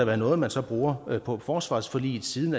være noget man så bruger på forsvarsforliget siden